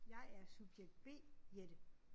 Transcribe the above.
Jeg er subjekt B Jette